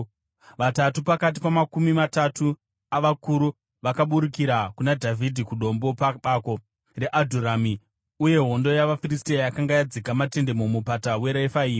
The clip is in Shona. Vatatu pakati pamakumi matatu avakuru vakaburukira kuna Dhavhidhi kuDombo pabako reAdhurami, uye hondo yavaFiristia yakanga yadzika matende muMupata weRefaimi.